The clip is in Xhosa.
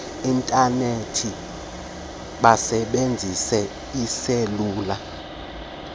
intanethi besebenzisa iiselula